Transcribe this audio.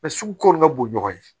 sugu kɔni ka bon ɲɔgɔn ye